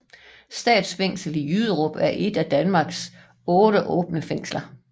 Statsfængslet i Jyderup er et af Danmarks 8 åbne fængsler